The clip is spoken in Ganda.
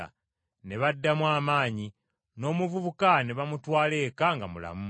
Ne baddamu amaanyi, n’omuvubuka ne bamutwala eka nga mulamu.